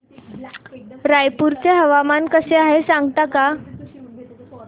रायपूर चे हवामान कसे आहे सांगता का